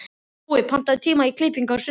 Búi, pantaðu tíma í klippingu á sunnudaginn.